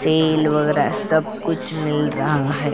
Cell वगैरा सब कुछ मिल रहा है।